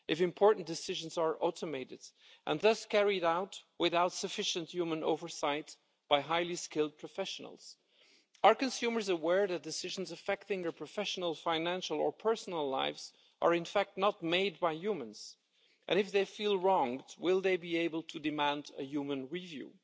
If important decisions are automated and thus carried out without sufficient human oversight by highly skilled professionals, are consumers aware that decisions affecting their professional, financial or personal lives are in fact not made by humans, and if they feel wronged, will they be able to demand a human review?